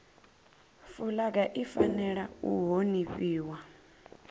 fulaga i fanela u honifhiwa